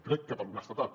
crec que per honestedat